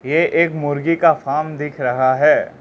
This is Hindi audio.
ये एक मुर्गी का फार्म दिख रहा है।